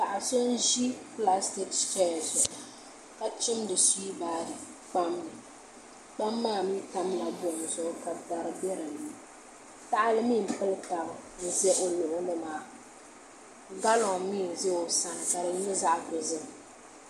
Paɣa so n ʒi pilaastik chɛya zuɣu ka chimdi suwiibaari kpam ni kpam maa mii tamla buɣum zuɣu ka dari bɛ dinni tahali miii n pili tabi ʒɛ o luɣuli maa galiŋ mii n ʒɛ o sani ka di nyɛ zaɣ dozim